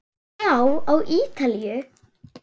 Já, á Ítalíu.